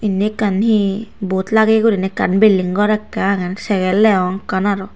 inni ekkan hi bod lageyegurinei ekkan bilding gor ekkan agey segel degong ekkan aro.